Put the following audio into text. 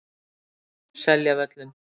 Seljavöllum